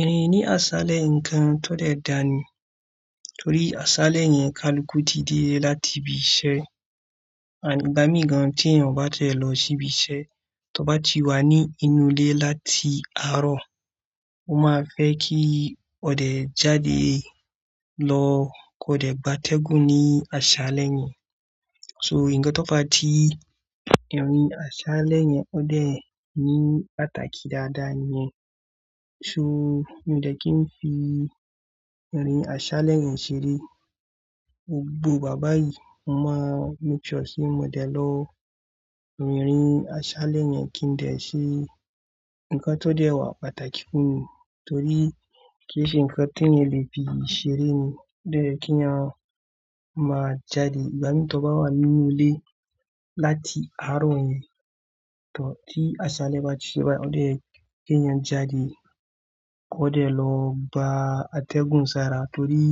Ẹ̀hn, ní aṣálẹ́ nǹkan tó dẹ̀ dànì torí aṣálẹ́ yẹn kálukú tí dé láti ibi iṣẹ́. And ìgbá mi gan-an tí ènìyàn ò bá ti ẹ̀ lọ sí ibi iṣẹ́, tó bá ti wà ní inú ilé láti àárọ̀, ó máa fẹ́ kí ó dẹ̀ jáde lọ kó dẹ̀ gba atẹ́gùn ní aṣálẹ́ yẹn. So ǹkan tó fàa ti ìrin aṣálẹ́ yẹn ó dẹ̀ ní pàtàkì dáadáa níyẹn. So mi ò dẹ̀ kí n fi irin aṣálẹ́ yẹn ṣeré, gbogbo ìgbà báyìí mo máa make sure pé mo dẹ̀ lọ. Irin aṣálẹ́ yẹn kí n dẹ̀ ṣe nǹkan tó dẹ̀ wà pàtàkì fún mi torí kí n ṣe ǹkan t'àèyàn lè fi ṣeré ni. O dẹ̀ yẹ kí èèyàn máa jáde, ìgbà mí tó bá wà nínú ilé láti àárọ̀ yẹn, tò ti aṣálẹ́ bá ti ṣe bayi, ó dẹ̀ yẹ kí èèyàn ó jáde kó dẹ̀ lọ bá atẹ́gùn sára torí